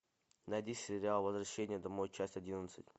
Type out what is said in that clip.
найди сериал возвращение домой часть одиннадцать